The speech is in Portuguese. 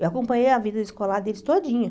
Eu acompanhei a vida escolar deles todinha.